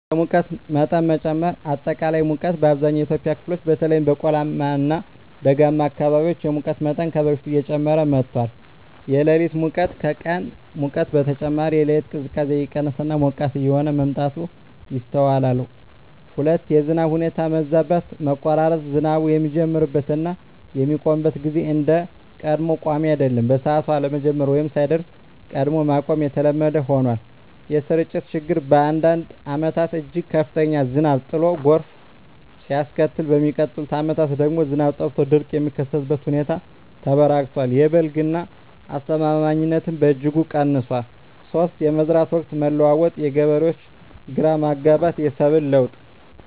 1)የሙቀት መጠን መጨመር >>አጠቃላይ ሙቀት: በአብዛኛው የኢትዮጵያ ክፍሎች (በተለይም በቆላማ እና ደጋማ አካባቢዎች) የሙቀት መጠን ከበፊቱ እየጨመረ መጥቷል። >>የሌሊት ሙቀት: ከቀን ሙቀት በተጨማሪ፣ የሌሊት ቅዝቃዜ እየቀነሰ እና ሞቃታማ እየሆነ መምጣቱ ይስተዋላል። 2)የዝናብ ሁኔታ መዛባት >>መቆራረጥ: ዝናቡ የሚጀምርበት እና የሚያቆምበት ጊዜ እንደ ቀድሞው ቋሚ አይደለም። በሰዓቱ አለመጀመር ወይም ሳይደርስ ቀድሞ ማቆም የተለመደ ሆኗል። >>የስርጭት ችግር: በአንዳንድ ዓመታት እጅግ ከፍተኛ ዝናብ ጥሎ ጎርፍ ሲያስከትል፣ በሚቀጥሉት ዓመታት ደግሞ ዝናብ ጠፍቶ ድርቅ የሚከሰትበት ሁኔታ ተበራክቷል። የ"በልግ" ዝናብ አስተማማኝነትም በእጅጉ ቀንሷል። 3)የመዝራት ወቅት መለዋወጥ: የገበሬዎች ግራ መጋባት፣ የሰብል ለውጥ